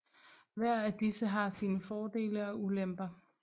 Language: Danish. Hver af disse har sine fordele og ulemper